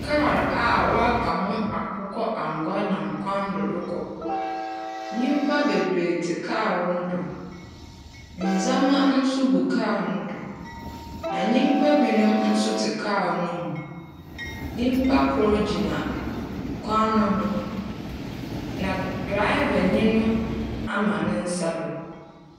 Car a wɔaka ho akokɔ angua nam kwan do rekɔ. Nnyimpa bebree tse car no do. Ndzɛma nso gu car no do. Na nnipa binom nso te car no mu. Nnyimpa kor gyina kwan no ho. Na drava nyi ama ne nsa do.